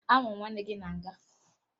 Ahụrụ m nwanne gị na nga